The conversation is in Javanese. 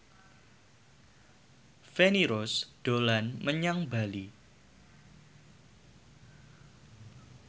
Feni Rose dolan menyang Bali